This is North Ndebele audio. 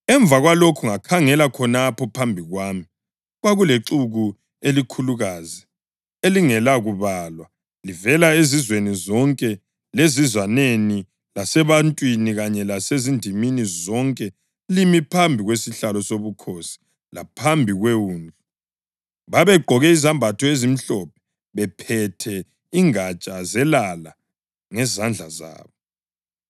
Emva kwalokhu ngakhangela khonapho phambi kwami kwakulexuku elikhulukazi elingela kubalwa livela ezizweni zonke lezizwaneni lasebantwini kanye lasezindimini zonke limi phambi kwesihlalo sobukhosi laphambi kweWundlu. Babegqoke izembatho ezimhlophe bephethe ingatsha zelala ngezandla zabo.